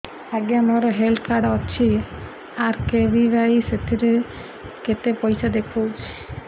ଆଜ୍ଞା ମୋର health card ଅଛି ଆର୍.କେ.ବି.ୱାଇ ସେଥିରେ କେତେ ପଇସା ଦେଖଉଛି